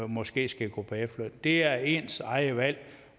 måske skal gå på efterløn det er ens eget valg